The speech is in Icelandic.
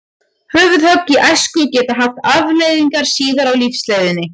Höfuðhögg í æsku geta haft afleiðingar síðar á lífsleiðinni.